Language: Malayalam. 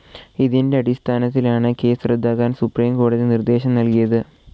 ഇതിൻ്റെ അടിസ്ഥാനത്തിലാണ് കേസ്സ് റദ്ദാക്കാൻ സുപ്രീം കോടതി നിർദ്ദേശം നൽകിയത്.